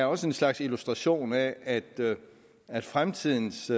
også en slags illustration af at at fremtidens